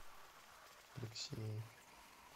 алексеев